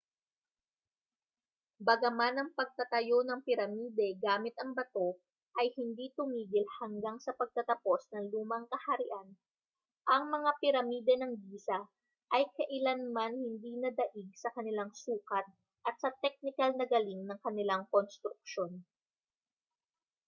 bagaman ang pagtatayo ng piramide gamit ang bato ay hindi tumigil hanggang sa pagtatapos ng lumang kaharian ang mga piramide ng giza ay kailanman hindi nadaig sa kanilang sukat at sa teknikal na galing ng kanilang konstruksyon